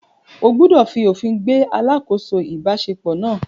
O gbúdọ̀ fi òfin gbé “ alákòóso ìbáṣepọ̀ ” náà.